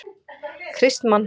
Kristmann